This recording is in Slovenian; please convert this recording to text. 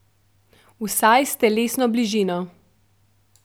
Vsaj s telesno bližino.